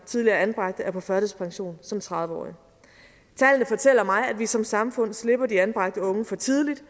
tidligere anbragte er på førtidspension som tredive årig tallene fortæller mig at vi som samfund slipper de anbragte unge for tidligt